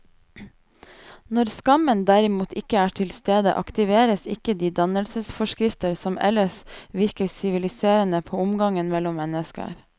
Når skammen derimot ikke er til stede, aktiveres ikke de dannelsesforskrifter som ellers virker siviliserende på omgangen mellom mennesker.